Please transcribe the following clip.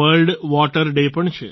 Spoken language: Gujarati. વર્લ્ડ વોટર ડે પણ છે